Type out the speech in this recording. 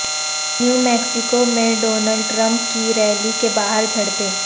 new Mexico میں Donald Trump کی rally کے باہر جھڑپیں